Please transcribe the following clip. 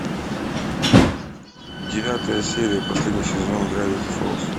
девятая серия последний сезон гравити фолз